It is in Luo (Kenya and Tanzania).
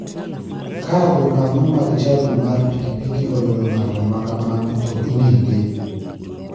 Ka jokanyo mag chadi mar pikipiki oyudo ng'ato ma kamano to inege.